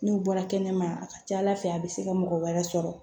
N'u bɔra kɛnɛma a ka ca ala fɛ a bɛ se ka mɔgɔ wɛrɛ sɔrɔ